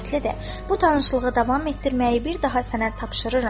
Bu tanışlığı davam etdirməyi bir daha sənə tapşırıram."